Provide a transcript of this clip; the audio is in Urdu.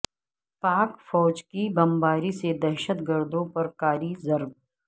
پاک فوج کی بمباری سے دہشت گردوں پر کاری ضرب